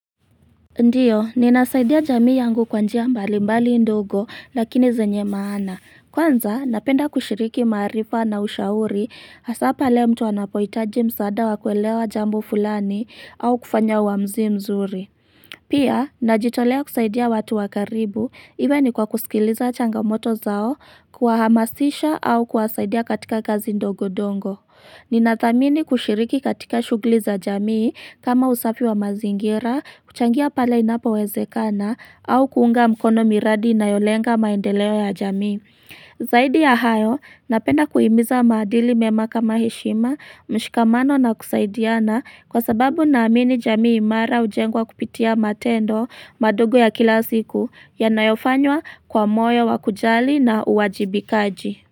Ndiyo, ninasaidia jamii yangu kwa njia mbali mbali ndogo lakini zenye maana. Kwanza, napenda kushiriki maarifa na ushauri asa pale mtu wanapoitaji msaada wakuelewa jambo fulani au kufanya wamzi mzuri. Pia, najitolea kusaidia watu wakaribu iwe ni kwa kusikiliza changamoto zao kwa hamasisha au kwasaidia katika kazi ndogo dongo. Ni natamini kushiriki katika shughuli za jamii kama usafi wa mazingira, kuchangia pale inapo wezekana au kuunga mkono miradi na yolenga maendeleo ya jamii. Zaidi ya hayo, napena kuimiza madili memaka heshima, mshikamano na kusaidiana kwa sababu na amini jamii imara ujengwa kupitia matendo madogo ya kila siku yanayofanywa kwa moyo wakujali na uwajibikaji.